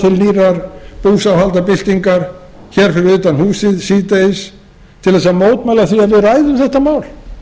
sé boðað til nýrrar búsáhaldabyltingar fyrir utan húsið síðdegis til að mótmæla því að við ræðum þetta mál